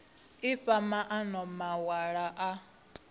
i fha maana mawalo a